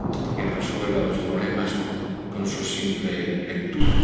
que resuelva los problemas con su simple lectura.